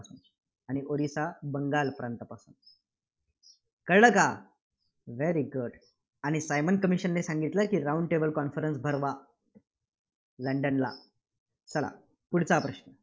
आणि ओरिसा बंगाल प्रांतापासून. कळलं का? very good आणि सायमन commission ने सांगितलं की round table conference भरवा. लंडनला